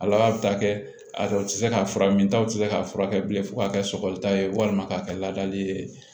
Ala bɛ taa kɛ a dɔw tɛ se ka fura min ta u tɛ se k'a furakɛ bilen fo ka kɛ sɔgɔli ta ye walima k'a kɛ ladali ye